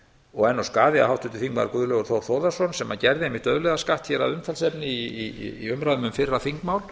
og er nú skaði að háttvirtur þingmaður guðlaugur þór þórðarson sem gerði einmitt auðlegðarskatt hér að umræðum um fyrra þingmál